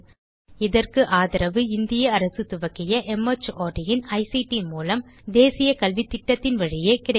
இதற்கு ஆதரவு இந்திய அரசு துவக்கிய மார்ட் இன் ஐசிடி மூலம் தேசிய கல்வித்திட்டத்தின் வழியே கிடைக்கிறது